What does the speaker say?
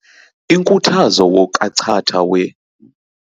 Inkuthazo wokachatha we.